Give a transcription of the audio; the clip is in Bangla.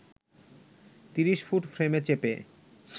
৩০ ফুট ফ্রেমে চেপে